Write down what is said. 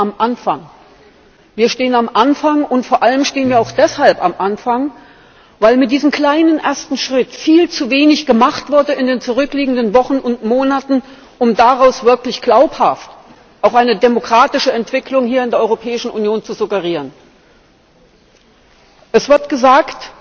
Wir stehen am Anfang. Und vor allem stehen wir auch deshalb am Anfang, weil mit diesem kleinen ersten Schritt viel zu wenig gemacht wurde in den zurückliegenden Wochen und Monaten, um daraus wirklich glaubhaft auch eine demokratische Entwicklung hier in der Europäischen Union zu suggerieren. Es wird gesagt,